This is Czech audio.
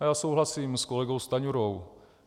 A já souhlasím s kolegou Stanjurou.